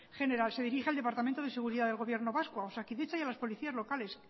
general se dirige al departamento de seguridad del gobierno vasco a osakidetza y a los policías locales